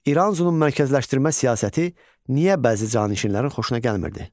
İranzunun mərkəzləşdirmə siyasəti niyə bəzi canişinlərin xoşuna gəlmirdi?